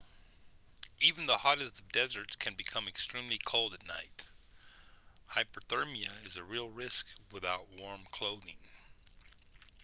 even the hottest of deserts can become extremely cold at night hypothermia is a real risk without warm clothing